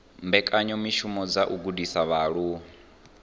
mbekanyamishumo dza u gudisa vhaaluwa